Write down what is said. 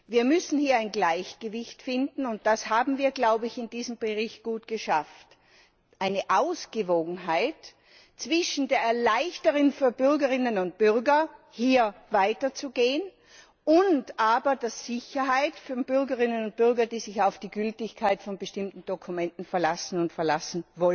Wir müssen hier ein Gleichgewicht finden, und das haben wir, glaube ich, in diesem Bericht gut geschafft, eine Ausgewogenheit zwischen der Erleichterung für Bürgerinnen und Bürger, hier weiterzugehen, und aber der Sicherheit von Bürgerinnen und Bürgern, die sich auf die Gültigkeit von bestimmten Dokumenten verlassen und verlassen